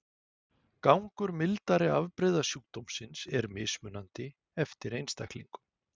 Gangur mildari afbrigða sjúkdómsins er mismunandi eftir einstaklingum.